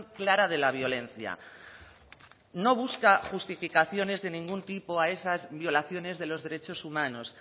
clara de la violencia no busca justificaciones de ningún tipo a esas violaciones de los derechos humanos